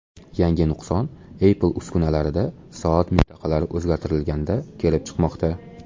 Yangi nuqson Apple uskunalarida soat mintaqalari o‘zgartirilganda kelib chiqmoqda.